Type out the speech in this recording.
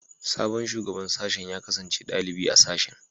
Sabon Shugaban Sashen ya kasance dalibi a sashen